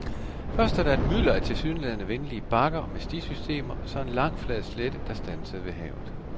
Først er der et mylder af tilsyneladende venlige bakker med stisystemer, så en lang flad slette, der standsede ved havet.